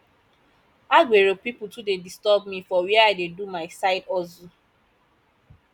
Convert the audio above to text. agbero pipu too dey disturb me for where i dey do my side hustle